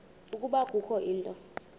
ukuba kukho into